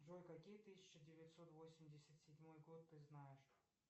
джой какие тысяча девятьсот восемьдесят седьмой год ты знаешь